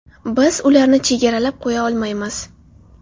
Biz ularni chegaralab qo‘ya olmaymiz.